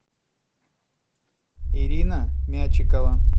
ирина мячикова